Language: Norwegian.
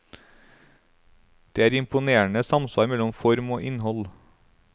Det er imponerende samsvar mellom form og innhold.